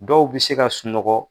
Dɔw bɛ se ka sunɔgɔ.